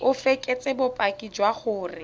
o fekese bopaki jwa gore